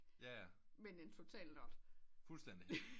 Men en total nørd